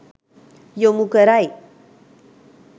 යොමු කරයි.